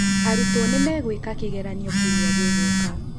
Aruto nĩmegũeka kĩgeranio kĩumia gĩgũka